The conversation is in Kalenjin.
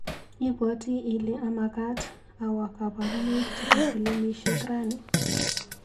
Ibwati ile amakat awa kabarunaik chebo pilimisiek rani.